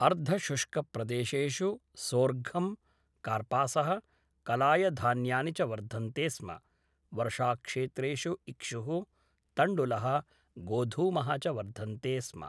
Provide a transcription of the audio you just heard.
अर्धशुष्कप्रदेशेषु सोर्घं, कार्पासः, कलायधान्यानि च वर्धन्ते स्म, वर्षाक्षेत्रेषु इक्षुः, तण्डुलः, गोधूमः च वर्धन्ते स्म।